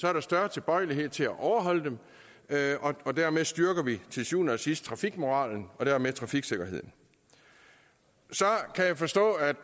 er der større tilbøjelighed til at overholde dem og dermed styrker vi til syvende og sidst trafikmoralen og dermed trafiksikkerheden så kan jeg forstå at